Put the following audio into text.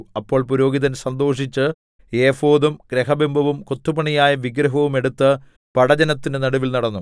അപ്പോൾ പുരോഹിതൻ സന്തോഷിച്ച് ഏഫോദും ഗൃഹബിംബവും കൊത്തുപണിയായ വിഗ്രഹവും എടുത്ത് പടജ്ജനത്തിന്റെ നടുവിൽ നടന്നു